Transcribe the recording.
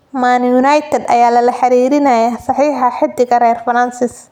Man United ayaa lala xiriirinayaa saxiixa xiddiga reer Faransis.